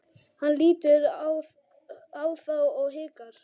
Hann lítur á þá og hikar.